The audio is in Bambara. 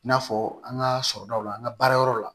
I n'a fɔ an ka sɔrɔdaw la an ka baarayɔrɔw la